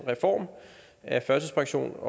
reformen af førtidspensions